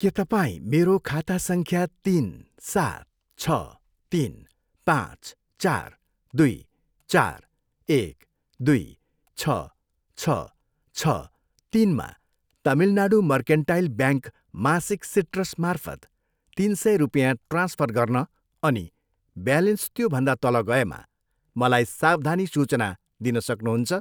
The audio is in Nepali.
के तपाईँ मेरो खाता सङ्ख्या तिन, सात, छ, तिन, पाँच, चार, दुई, चार, एक, दुई, छ, छ, छ, तिनमा तमिलनाडू मर्केन्टाइल ब्याङ्क मासिक सिट्रसमार्फत तिन सय रुपियाँ ट्रान्सफर गर्न अनि ब्यालेन्स त्यो भन्दा तल गएमा मलाई सावधानी सूचना दिनु सक्नुहुन्छ?